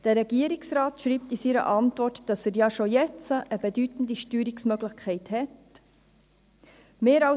Der Regierungsrat schreibt in seiner Antwort, dass er ja schon jetzt eine bedeutende Steuerungsmöglichkeit hat.